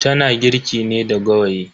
Tana girki ne da gawayi.